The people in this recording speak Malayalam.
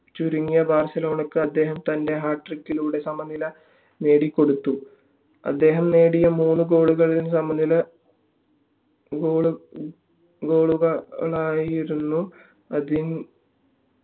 ചുരുങ്ങിയ ബാർസിലോണക്ക് അദ്ദേഹം തൻ്റെ hat trick ലൂടെ സമനില നേടിക്കൊടുത്തു അദ്ദേഹം നേടിയ മൂന്ന് goal കളും സമനില goal ആയിരുന്നു അതി